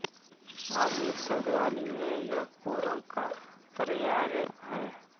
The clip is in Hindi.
आधुनिक शब्दावली में यह कोरम का पर्याय है